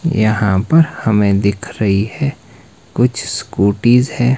यहां पर हमें दिख रही है कुछ स्कूटीज है।